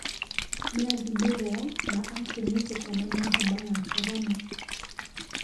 Nĩathimirwo na akĩnyĩtĩkana na homa ya korona